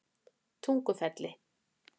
Tungufelli